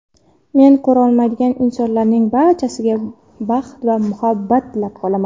Meni ko‘rolmaydigan insonlarning barchasiga baxt va muhabbat tilab qolaman.